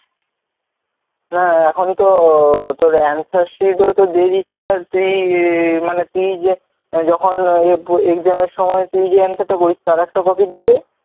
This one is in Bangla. ও এখন তো তোর answer sheet ও তো দিয়ে দিচ্ছে আর তুই মানে যে তুই যখন exam এর সময় তুই যে answer টা করিস তার একটা copy দিবে,